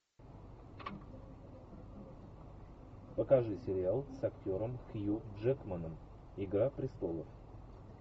покажи сериал с актером хью джекманом игра престолов